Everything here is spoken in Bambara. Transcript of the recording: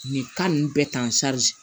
Nin ninnu bɛɛ tan